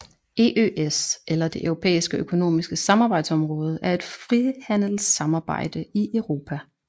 EØS eller Det Europæiske Økonomiske Samarbejdsområde er et frihandelssamarbejde i Europa